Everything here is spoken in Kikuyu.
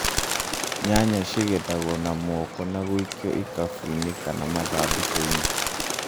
Nyanya cigethaguo na moko na gũikio ikabũ-inĩ kana mathandũkũ-inĩ.